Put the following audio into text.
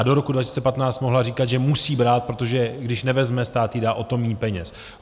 A do roku 2015 mohla říkat, že musí brát, protože když nevezme, stát jí dá o to míň peněz.